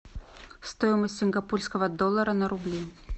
стоимость сингапурского доллара на рубли